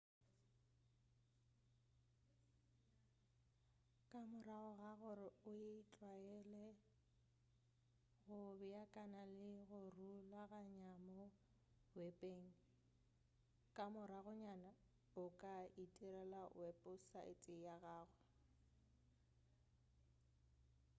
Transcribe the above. ka morago ga gore o tlwaele go beakanya le go rulaganya mo wepeng ka moragonyana o ka itirela weposaete ya gago